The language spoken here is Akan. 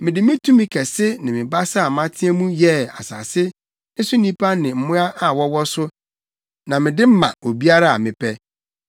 Mede me tumi kɛse ne me basa a mateɛ mu yɛɛ asase ne so nnipa ne mmoa a wɔwɔ so, na mede ma obiara a mepɛ.